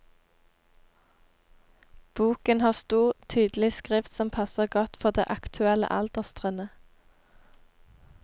Boken har stor, tydelig skrift som passer godt for det aktuelle alderstrinnet.